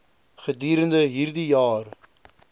gedurende hierdie jaar